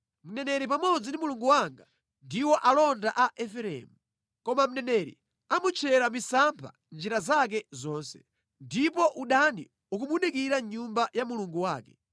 Mneneri pamodzi ndi Mulungu wanga ndiwo alonda a Efereimu, koma mneneri amutchera misampha mʼnjira zake zonse, ndipo udani ukumudikira mʼnyumba ya Mulungu wake.